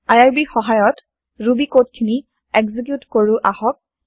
IRB ৰ সহায়ত Ruby code খিনি এক্সিকিউত কৰো আহক